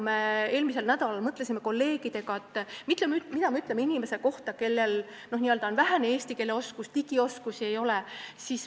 Me eelmisel nädalal mõtlesime kolleegidega, mida me ütleme inimese kohta, kellel on vähene eesti keele oskus ja kellel digioskusi ei ole.